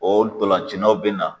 O dɔlancinaw bɛ na.